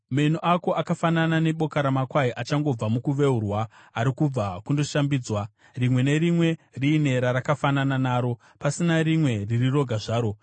Meno ako akafanana neboka ramakwai achangobva mukuveurwa, ari kubva kundoshambidzwa. Rimwe nerimwe riine rarakafanana naro, pasina rimwe riri roga zvaro.